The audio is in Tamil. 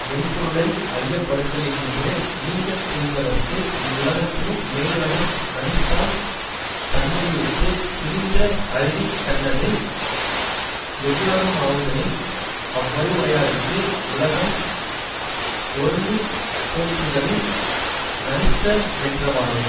மெய் பொருளை ஐயப்படுதலினின்று நீங்கத் துணிந்தவர்க்கு இவ்வுலகத்தினும் மேலுலகம் நணித்தாம் தன்மையுடுத்து துணிந்த அறிவின்கண்ணது எவ்வுலகுமாகுதலின் அவ்வறிவுடையார்க்கு உலகம் ஒருங்குதோற்றுதலின் நணித்தமென்றவாறு